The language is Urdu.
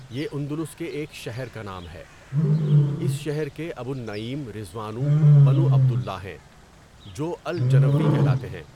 یہ اندلس کے ایک شہر کا نام ہے۔ اس شہر کے أَبو النَّعيم رضوانُ بنُ عبد اللَّهِ ہیں جو الجَنَويّ کہلاتے ہیں۔